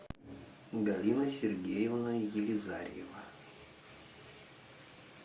галина сергеевна елизарьева